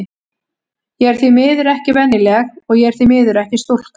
Ég er því miður ekki venjuleg, og ég er því miður ekki stúlka.